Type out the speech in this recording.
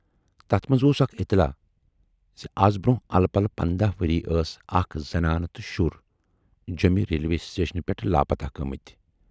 تتھ منز اوس اکھ اطلاع زِ از برونہہ ا لہٕ پلہٕ پنداہ ؤری ٲس اکھ زنان تہٕ شُر جٮ۪مہِ ریلوے سٹیشنہٕ پٮ۪ٹھٕ لاپتاہ گٲمٕتۍ۔